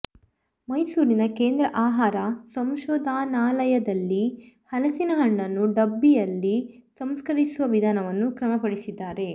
ಮೈಸೂರಿನ ಕೇಂದ್ರ ಆಹಾರ ಸಂಶೋಧನಾಲಯದಲ್ಲಿ ಹಲಸಿನ ಹಣ್ಣನ್ನು ಡಬ್ಬಯಲ್ಲಿ ಸಂಸ್ಕರಿಸುವ ವಿಧಾನವನ್ನು ಕ್ರಮಪಡಿಸಿದ್ದಾರೆ